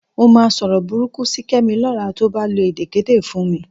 Mo máa sọ̀rọ̀ burúkú sí Kẹ́mi lọ́la tí ó bá lo èdèkéde fún mi